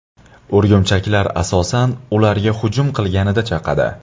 O‘rgimchaklar, asosan, ularga hujum qilinganida chaqadi.